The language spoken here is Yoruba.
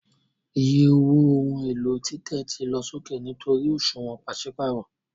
Iye owó ohun èlò títẹ̀ ti lọ sókè nítorí òṣùwọ̀n pàṣípààrọ̀